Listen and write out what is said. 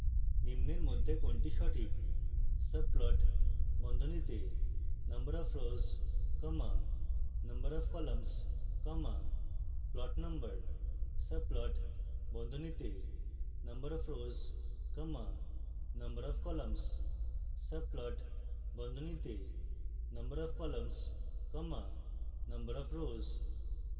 1 নিম্নের মধ্যে কোনটি সঠিক